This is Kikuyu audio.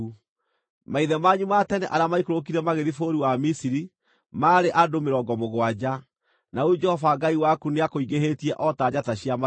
Maithe manyu ma tene arĩa maikũrũkire magĩthiĩ bũrũri wa Misiri maarĩ andũ mĩrongo mũgwanja, na rĩu Jehova Ngai waku nĩakũingĩhĩtie o ta njata cia matu-inĩ.